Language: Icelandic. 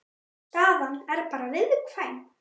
Staðan er bara viðkvæm